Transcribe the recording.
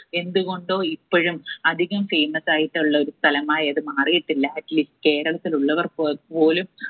എന്ത് കൊണ്ടോ ഇപ്പഴും അധികം famous ആയിട്ടുള്ള ഒരു സ്ഥലമായി അത് മാറിയിട്ടില്ല atleast കേരളത്തിൽ ഉള്ളവർ പൊ പോലും